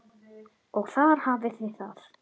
Og þar hafið þið það!